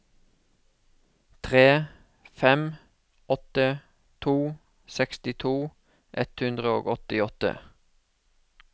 tre fem åtte to sekstito ett hundre og åttiåtte